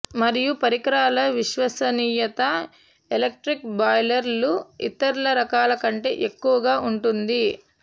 మరియు పరికరాల విశ్వసనీయత ఎలక్ట్రిక్ బాయిలర్లు ఇతర రకాల కంటే ఎక్కువగా ఉంటుంది